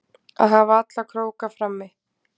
Að hafa alla króka frammi